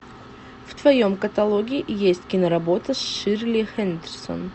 в твоем каталоге есть киноработа с ширли хендерсон